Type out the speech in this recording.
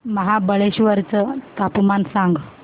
महाबळेश्वर चं तापमान सांग